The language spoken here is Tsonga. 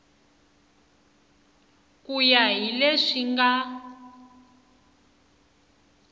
ku ya hi leswi nga